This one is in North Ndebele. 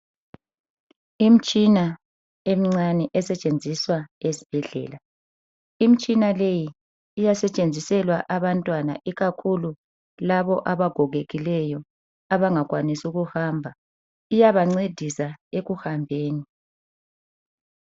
Imtshina emncane esetshenziswa esibhedlela. Imtshina leyi iyasetshenziselwa abantwana ikakhulu labo abagogekileyo abangakwanisi ukuhamba, iyabancedisa ekuhambeni